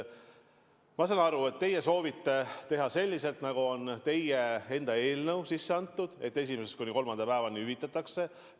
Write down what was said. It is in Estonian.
Ma saan aru, et teie soovite teha selliselt, nagu on teie sisse antud eelnõus kirjas: et ka esimesest kuni kolmanda päevani hüvitatakse.